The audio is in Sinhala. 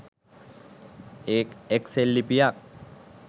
එක් සෙල්ලිපියක්